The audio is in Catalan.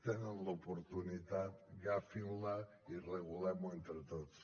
tenen l’oportunitat agafin la i regulem ho entre tots